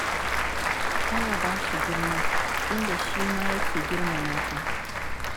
Tana ba shi girma, inda shi ma yake girmama ta.